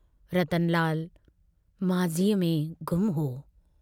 रतनलाल माझीअ में गुम हो।